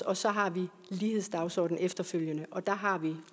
og så har vi lighedsdagsordenen efterfølgende og der har vi